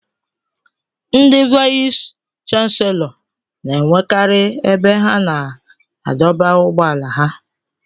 Ndị vayis chansilọ n'enwekari ebe ha na-adọba ụgbọala ha.